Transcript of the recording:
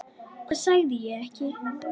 Hvað sagði ég ekki?